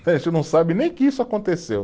não sabe nem que isso aconteceu.